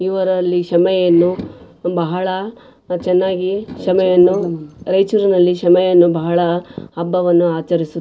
ಇವರಲ್ಲಿ ಶಮೆಯನ್ನು ಬಹಳ ಚೆನ್ನಾಗಿ ಶಮೆಯನ್ನು ರಾಯ್ಚೂರ್ನಲ್ಲಿ ಶಮೆಯನ್ನು ಬಹಳ ಹಬ್ಬವನ್ನು ಆಚಾರಿಸುತ್ --